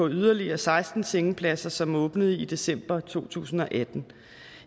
yderligere seksten sengepladser som åbnede i december to tusind og atten